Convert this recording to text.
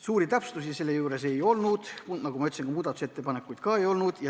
Suuri täpsustusi selle juures ei olnud, nagu ma ütlesin, ja ka muudatusettepanekuid ei olnud.